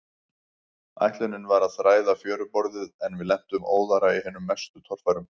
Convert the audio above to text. Ætlunin var að þræða fjöruborðið, en við lentum óðara í hinum mestu torfærum.